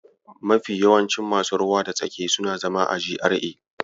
Mafi yawancin masu ruwa da tsaki suna zama a GRA.